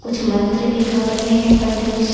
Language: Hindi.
कुछ मंत्र भी गा रहे है पंडित जी--